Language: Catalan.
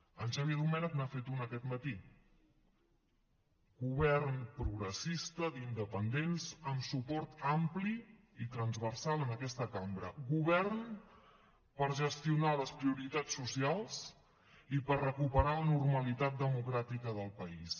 en xavier domènech n’ha fet una aquest matí govern progressista d’independents amb suport ampli i transversal en aquesta cambra govern per gestionar les prioritats socials i per recuperar la normalitat democràtica del país